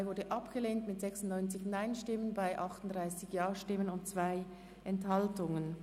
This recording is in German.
Die Ziffer 2 ist abgelehnt worden mit 38 Ja- zu 96 Nein-Stimmen bei 2 Enthaltungen.